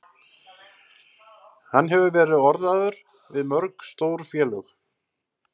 Hann hefur verið orðaður við mörg stór félög.